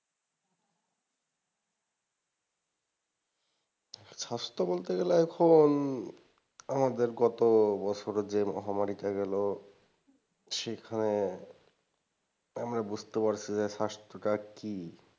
স্বাস্থ্য বলতে গেলে এখন আমাদের গতবছরে যে মহামারীটা গেল সেখানে আমরা বুঝতে পারছি যে স্বাস্থ্যটা কি।